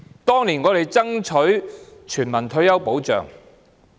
當年，我們爭取全民退休保障。